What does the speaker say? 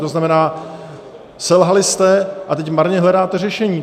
To znamená, selhali jste a teď marně hledáte řešení.